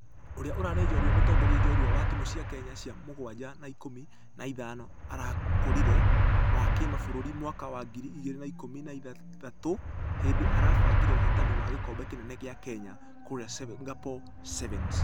Ũria ũrarĩ njorua mũtongoria njorua wa timũ cia kenya cia mũgwaja na ikũmi na ithano arakũrire ...wa kĩmabũrũri mwaka wa ngiri igĩrĩ na ikũmi na ithathatũ hindĩ arabangire uhotani wa gĩkobe kĩnene gĩa kenya kũrĩa singapore sevens.